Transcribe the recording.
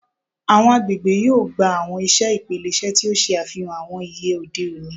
Awọn agbegbe yoo gba awọn iṣe ipilẹṣẹ ti o ṣe afihan awọn iye ode oni